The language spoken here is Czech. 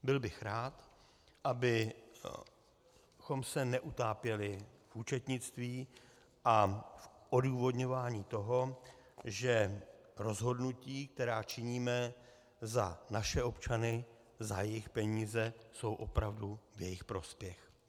Byl bych rád, abychom se neutápěli v účetnictví a v odůvodňování toho, že rozhodnutí, která činíme za naše občany, za jejich peníze, jsou opravdu v jejich prospěch.